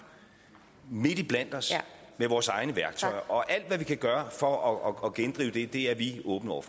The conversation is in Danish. midt iblandt os med vores egne værktøjer og alt hvad vi kan gøre for at gendrive det er vi åbne over